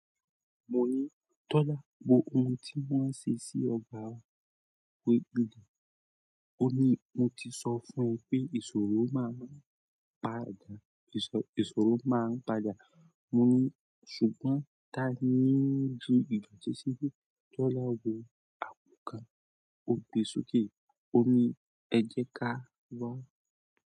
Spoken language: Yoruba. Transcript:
Mo ní, "Tọ́lá wo ohun tí wọ́n ṣe sí ọ̀gba wá pèélì." Ó ní, "Mo ti sọ fún ẹ pé ìṣòro máa ń bàjà." Mo ní, "Ṣùgbọ́n taani ń ju ìdoti síbí?" Tọ́lá wo àpò kan, ó gbe sókè, ó ní, "Ẹ jẹ káà gbọ̀."